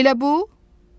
Elə bu?